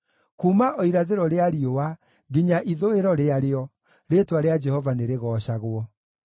Kuuma o irathĩro rĩa riũa nginya ithũĩro rĩarĩo, rĩĩtwa rĩa Jehova nĩrĩgoocagwo.